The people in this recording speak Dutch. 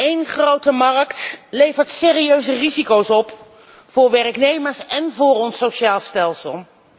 Eén grote markt levert serieuze risico's op voor werknemers en voor ons sociaal stelsel.